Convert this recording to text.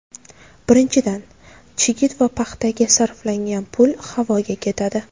Birinchidan, chigit va paxtaga sarflangan pul havoga ketadi.